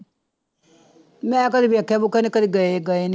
ਮੈਂ ਕਦੇ ਵੇਖਿਆ ਵੂਖਿਆ ਨੀ ਕਦੇ ਗਏ ਗਏ ਨੀ।